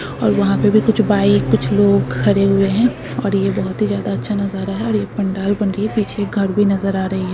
और वहा पर भी कुछ भाई लोग खड़े हुए हैं और यह बहुत ही ज्यादा अच्छा नजारा है पीछे घर भी नजर आ रहा है।